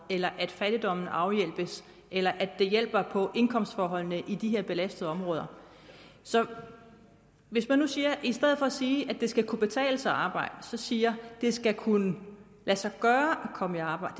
eller at fattigdommen afhjælpes eller at det hjælper på indkomstforholdene i de her belastede områder så hvis man nu i stedet for at sige at det skal kunne betale sig at arbejde siger at det skal kunne lade sig gøre at komme i arbejde